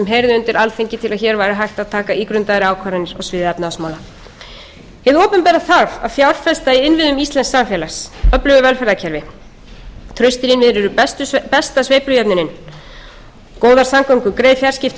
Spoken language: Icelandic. hefði undir alþingi til að hér væri hægt að taka ígrundaðar ákvarðanir á sviði efnahagsmál hið opinbera þarf að fjárfesta í innviðum íslensks samfélags öflugu velferðarkerfi eru besta sveiflujöfnunin góðar samgöngur greið fjarskipti